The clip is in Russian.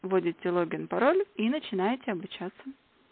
вводите логин пароль и начинается обучаться